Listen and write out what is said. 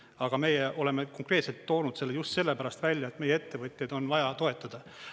Aga meie oleme konkreetselt toonud selle just sellepärast välja, et meie ettevõtjaid on vaja toetada.